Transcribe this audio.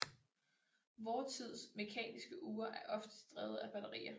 Vor tids mekaniske ure er oftest drevet af batterier